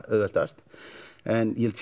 auðveldast en ég held